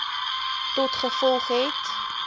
tot gevolg het